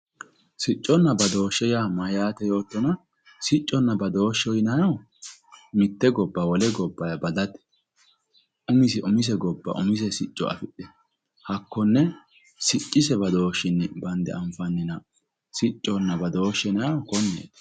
sicconna badooshshe mayyaate yoottona sicconna badooshsheho yinannihu mitte gobba wole gobbanni badate umise umise gobba badooshshe afidhino konne siccise badooshshinnni bande anfannina sicconna badooshsheho yinannihu konneeti.